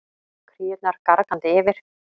Kríurnar gargandi yfir.